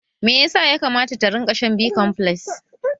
Meyasa ya kamata ta rinka shan B-komfles?